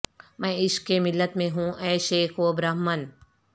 میں عشق کے ملت میں ہوں اے شیخ و برہمن